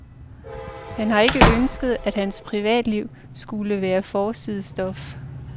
Han har ikke ønsket, at han privatliv skulle være forsidestof.